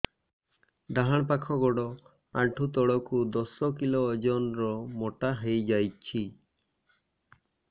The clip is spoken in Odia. ଡାହାଣ ପାଖ ଗୋଡ଼ ଆଣ୍ଠୁ ତଳକୁ ଦଶ କିଲ ଓଜନ ର ମୋଟା ହେଇଯାଇଛି